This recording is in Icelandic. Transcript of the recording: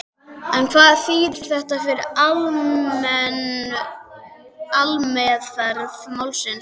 En hvað þýðir þetta fyrir aðalmeðferð málsins?